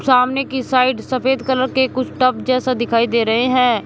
सामने की साइड सफेद कलर के कुछ टब जैसा दिखाई दे रहे हैं।